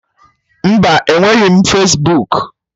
Mba, enweghị Fesbuku